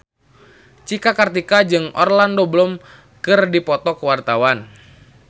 Cika Kartika jeung Orlando Bloom keur dipoto ku wartawan